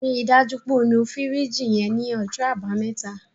Ri dájú pé o nu fìríjìì yẹn ní ọjọ́ àbámẹ́ta.